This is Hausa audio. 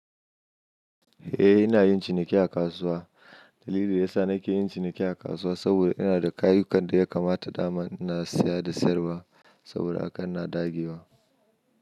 Eh, ina yin ciniki a kasuwa. Dalilin da yasa nake yin ciniki a kasuwa saboda ina da kayukan da ya kamata dama in na saya da sayarwa saboda haka ina dagewa.